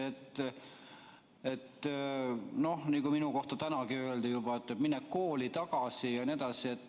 Tänagi öeldi minu kohta, et mine kooli tagasi.